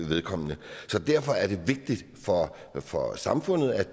vedkommende derfor er det vigtigt for samfundet at